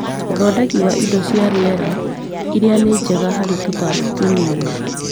ũthondeki wa indo cia rĩera iria ni njega harĩ tũtambi tũnini